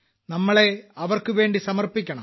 നമ്മളെ അവർക്കുവേണ്ടി സമർപ്പിക്കണം